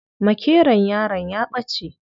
Makeron yaron ya ɓace.